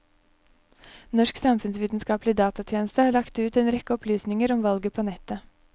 Norsk samfunnsvitenskaplig datatjeneste har lagt ut en rekke opplysninger om valget på nettet.